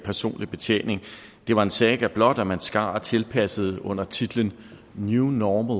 personlig betjening var en saga blot og at man skar og tilpassede det under titlen new normal